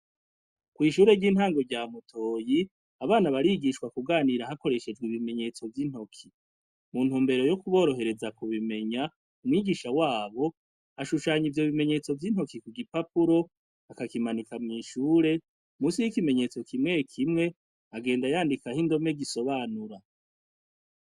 Ishure ry’intango rya Mutoyi, abana barigishwa kuganira hakoreshejw’ibimenyestso vy’intoki. Muntumbero yo kuborohereza kubimenya, umwigisha wabo, ashushanya ivyo bimenyetso vy’intoke kugipapuro, akakimanika mw’ishure, musi y’ikimenyetso kimwe kimwe, agenda yandikah’indome zisobanura.